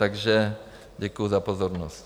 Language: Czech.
Takže děkuji za pozornost.